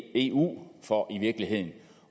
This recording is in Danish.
eu for i virkeligheden